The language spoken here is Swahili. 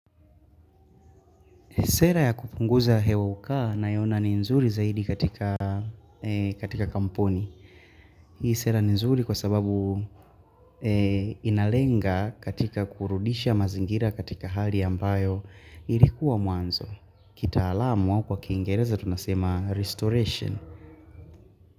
Sera ya kupunguza hewa uka naona ni nzuri zaidi katika kampuni. Hii sera ni nzuri kwa sababu inalenga katika kurudisha mazingira katika hali ambayo ilikuwa mwanzo. Kitaalamu kwa kiingereza tunasema restoration.